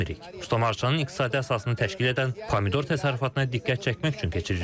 Ustamarçanın iqtisadi əsasını təşkil edən pomidor təsərrüfatına diqqət çəkmək üçün keçiririk.